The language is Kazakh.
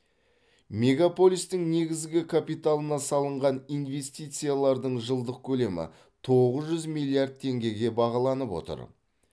мегаполистің негізгі капиталына салынған инвестициялардың жылдық көлемі тоғыз жүз миллиард теңгеге бағаланып отыр